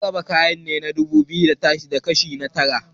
an raba kayan gida dubu biyu da ashirin da Tara